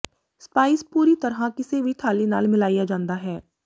spice ਪੂਰੀ ਤਰ੍ਹਾਂ ਕਿਸੇ ਵੀ ਥਾਲੀ ਨਾਲ ਮਿਲਾਇਆ ਜਾਂਦਾ ਹੈ